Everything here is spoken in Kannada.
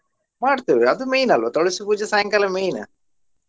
ಮಾಡ್ತೇವೆ ಅದು main ಅಲ್ವಾ ತುಳಸಿ ಪೂಜೆ ಸಾಯಂಕಾಲ main .